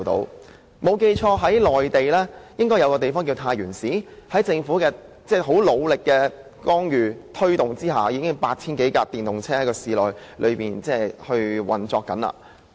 如果我沒有記錯，內地一個名為太原市的地方，在政府的努力推動下，現時市內已經有 8,000 多輛電動車運作。